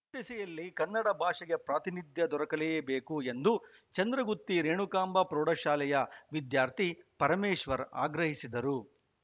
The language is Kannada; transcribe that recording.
ಈ ದಿಸೆಯಲ್ಲಿ ಕನ್ನಡ ಭಾಷೆಗೆ ಪ್ರಾತಿನಿಧ್ಯ ದೊರಕಲೆಬೇಕು ಎಂದು ಚಂದ್ರಗುತ್ತಿ ರೇಣುಕಾಂಬ ಪ್ರೌಢಶಾಲೆಯ ವಿದ್ಯಾರ್ಥಿ ಪರಮೇಶ್ವರ್‌ ಆಗ್ರಹಿಸಿದರು